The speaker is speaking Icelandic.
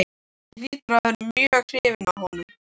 Hún hlýtur að vera mjög hrifin af honum.